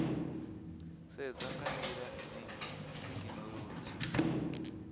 sedzwa nga ndila ine thekhinolodzhi